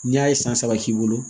Ni a ye san saba k'i bolo